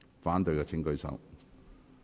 反對的請舉手。